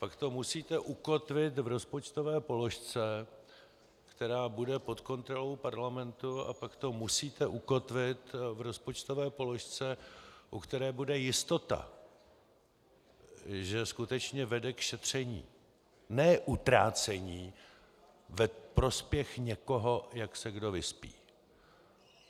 Pak to musíte ukotvit v rozpočtové položce, která bude pod kontrolou parlamentu, a pak to musíte ukotvit v rozpočtové položce, u které bude jistota, že skutečně vede k šetření, ne utrácení ve prospěch někoho, jak se kdo vyspí.